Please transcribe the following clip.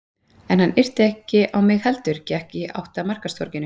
En hann yrti ekki á mig heldur gekk í átt að markaðstorginu.